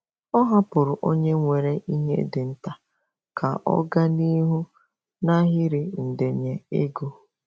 Ọ hapụrụ onye nwere ihe dị nta ka ọ gaa n'ihu n'ahịrị ndenye ego.